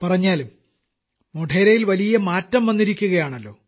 പറഞ്ഞാലും മോഢേരയിൽ വലിയ മാറ്റം വന്നിരിക്കുകയാണല്ലോ